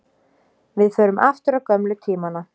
Við förum aftur á gömlu tímana.